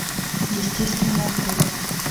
естественный отбор